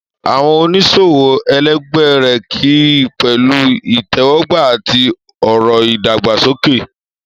Àwọn oníṣòwò ẹlẹgbẹ́ rẹ̀ kí i pẹ̀lú ìtẹ́wọ́gbà àti ọ̀rọ̀ ìdàgbàsókè.